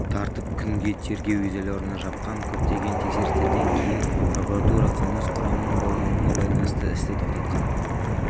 тартып күнге тергеу изоляорына жапқан көптеген тексерістерден кейін прокуратура қылмыс құрамының болмауына байланысты істі тоқтатқан